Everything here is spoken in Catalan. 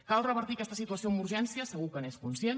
cal revertir aquesta situació amb urgència segur que n’és conscient